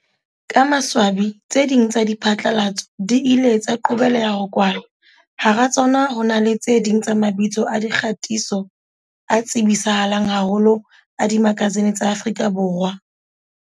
Ka maswa bi, tse ding tsa diphatlalatso di ile tsa qobeleha ho kwalwa, hara tsona ho na le tse ding tsa mabitso a dikgatiso a tsebisa halang haholo a dimakasine tsa Afrika Borwa.